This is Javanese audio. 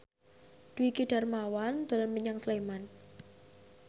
Dwiki Darmawan dolan menyang Sleman